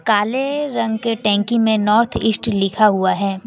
काले रंग के टंकी में नॉर्थ ईस्ट लिखा हुआ है।